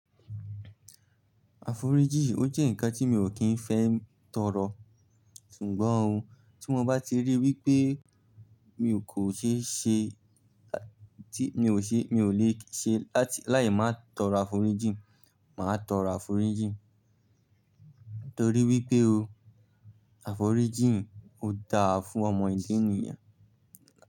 Aforiji ó jẹ́ ǹkan tí mi ò kí ń fẹ́ tọrọ, ṣùgbọ́n ohun tí mo bá ti rí wípé mi ò kò ṣe é ṣe láti, mi ò ṣe, mi ò le ṣe láti láì má tọrọ aforiji, màá tọrọ aforiji. Nítorí wípé o, aforiji ó da fún ọmọ ilé ènìyàn.